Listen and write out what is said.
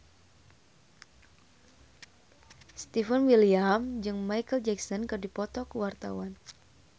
Stefan William jeung Micheal Jackson keur dipoto ku wartawan